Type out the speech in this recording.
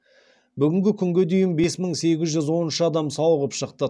бүгінгі күнге дейін бес мың сегіз жүз он үш адам сауығып шықты